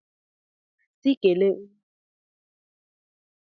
Si kele onye ntị chiri; elu anụghị, ala anụ.